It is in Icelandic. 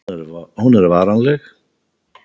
Hún er varanleg.